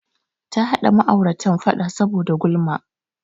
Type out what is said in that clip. Ta haɗa ma'auratar faɗa saboda gulama.